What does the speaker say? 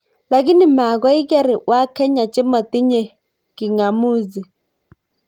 Lakini magoiker wakenya chemotinye king'amuzi